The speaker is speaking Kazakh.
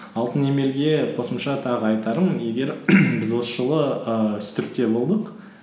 алтын емелге қосымша тағы айтарым егер біз осы жылы ііі үстіртте болдық